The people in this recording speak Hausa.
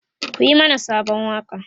ku Yi mana Sabon waƙa!